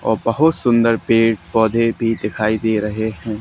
और बहोत सुंदर पेड़ पौधे भी दिखाई दे रहे हैं।